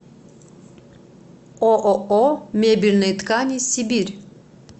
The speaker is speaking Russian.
ооо мебельные ткани сибирь